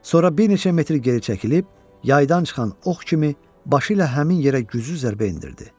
Sonra bir neçə metr geri çəkilib, yaydan çıxan ox kimi başı ilə həmin yerə güclü zərbə endirdi.